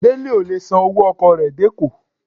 Dele o le sán ọwọ ọkọ re dé Eko.